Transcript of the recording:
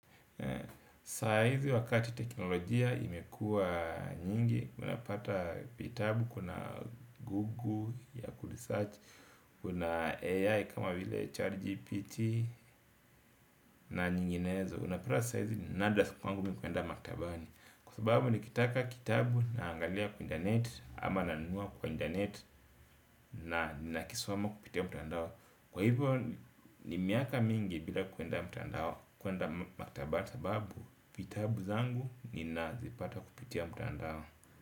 Sahizi wakati teknolojia imekua nyingi. Unapata vitabu kuna Google ya kuli search. Kuna AI kama vile GPT na nyinginezo. Unapata sahizi ninadra kwangu mimikwenda maktabani. Kwa sababu nikitaka kitabu na angalia kwa internet. Ama nanunua kwa internet na nakisoma kupitia mtandao. Kwa hivyo ni miaka mingi bila kwenda mtandao. Kwenda maktaba sababu vitabu zangu ni nazipata kupitia mtandao.